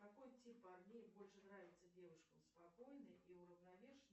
какой тип парней больше нравится девушкам спокойный и уравновешенный